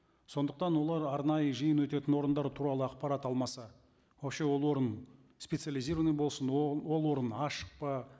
сондықтан олар арнайы жиын өтетін орындар туралы ақпарат алмаса вообще ол орын специализированный болсын ол орын ашық па